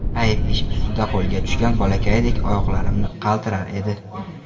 Ayb ish ustida qo‘lga tushgan bolakaydek oyoqlarimni qaltirar edi.